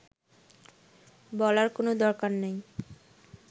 বলার কোনো দরকার নাই